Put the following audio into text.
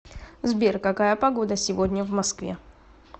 сбер какая погода сегодня в москве